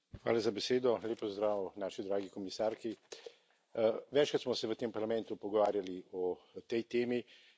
Gospod predsednik, lep pozdrav naši dragi komisarki. Večkrat smo se v tem parlamentu pogovarjali o tej temi.